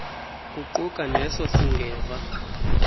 kuquka neso singeva